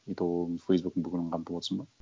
и то оның фейсбуктың бүкілін қамтып отырсың ба